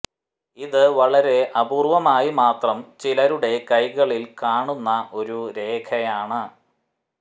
ഇത് വളരെ അപൂര്വമായി മാത്രം ചിലരുടെ കൈകളിൽ കാണുന്ന ഒരു രേഖയാണ്